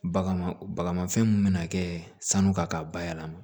Bagan ma baga fɛn mun bina kɛ sanu ka bayɛlɛma